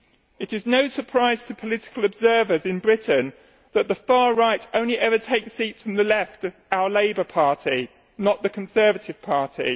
It is no surprise to political observers in Britain that the far right only ever takes seats from the left our Labour party, not the Conservative party.